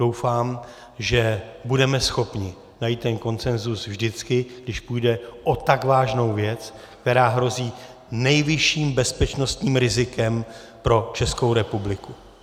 Doufám, že budeme schopni najít ten konsenzus vždycky, když půjde o tak vážnou věc, která hrozí nejvyšším bezpečnostním rizikem pro Českou republiku.